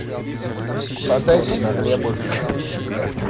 подайте на хлебушек